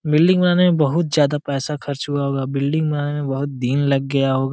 Building बनाने में बहुत ज्यादा पैसा खर्च हुआ होगा। बिल्डिंग बहुत दिन लग गया होग--